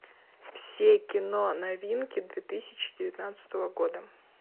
все киноновинки две тысячи девятнадцатого года